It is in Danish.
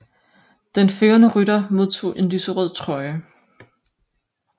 Den førende rytter modtog en lyserød trøje